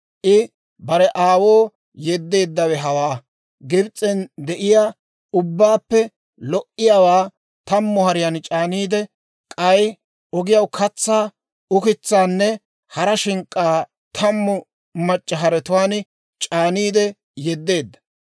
I bare aawoo yeddeeddawe hawaa; Gibs'en de'iyaa ubbabaappe lo"iyaawaa tammu hariyaan c'aaniide, k'ay ogiyaw katsaa, ukitsaanne hara shink'k'aa tammu mac'c'a haretuwaan c'aaniide yedeedda.